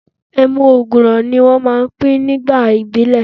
Ẹmu ògùrò ni wọ́n máa pin ní báà ìbílẹ̀.